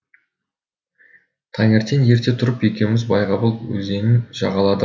таңертең ерте тұрып екеуміз байғабыл өзенін жағаладық